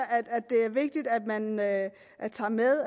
det er vigtigt at man at man tager med